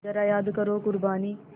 ज़रा याद करो क़ुरबानी